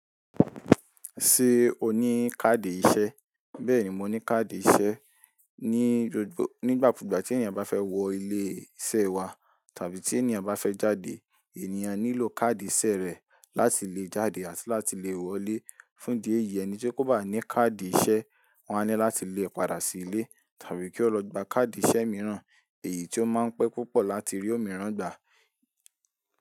Ṣé o ní káàdì ìṣe? Bẹ́ẹ̀ni, mo ní káàdì ìṣe. Ní gbogbo, nígbàkúgbà tí ènìyàn bá fẹ́ wọ ilé iṣẹ́ wa tàbí tí ènìyàn bá fẹ́ jáde, ènìyàn nílò káàdì ìṣe rẹ̀ láti lè jáde àti láti lè wọlé. Fún ìdí èyí, ẹni tí kò bá ní káàdì ìṣe, wọ́n á ní láti lé e padà sí ilé tàbí kí ó lọ gba káàdì ìṣe mìíràn. Èyí tí ó máa ń pẹ́ púpọ̀ láti rí òmíràn gbà.